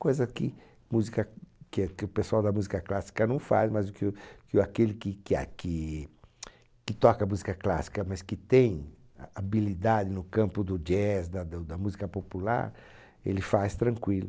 Coisa que música que é que o pessoal da música clássica não faz, mas o que o que o aquele que que aqui, que toca música clássica, mas que tem habilidade no campo do jazz, da da da música popular, ele faz tranquilo.